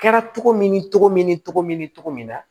Kɛra cogo min ni cogo min ni togo min togo min na